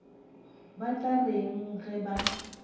ba tla reng ge ba